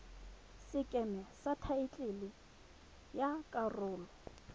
sekeme sa thaetlele ya karolo